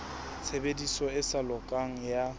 tshebediso e sa lokang ya